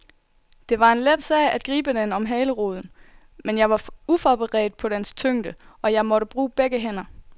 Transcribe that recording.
Det var en let sag at gribe den om haleroden, men jeg var uforberedt på dens tyngde, og jeg måtte bruge begge hænder.